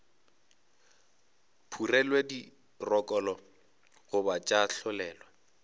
phurelwe dirokolo goba tša tlolelwa